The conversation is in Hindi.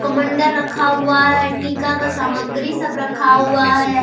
कमंडल रखा हुआ है टिका का सामग्री सब रखा हुआ है।